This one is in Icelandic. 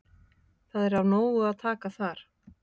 Það er af nógu að taka þar.